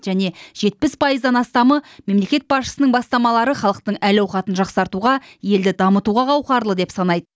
және жетпіс пайыздан астамы мемлекет басшысының бастамалары халықтың әл ауқатын жақсартуға елді дамытуға қауқарлы деп санайды